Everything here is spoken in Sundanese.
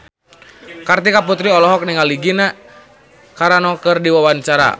Kartika Putri olohok ningali Gina Carano keur diwawancara